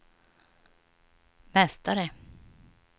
mästare